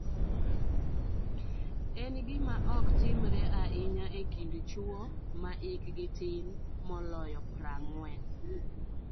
En gima ok timre ahinya e kind chwo ma hikgi tin moloyo 40.